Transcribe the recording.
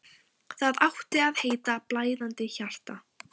Það átti að heita: Blæðandi hjarta.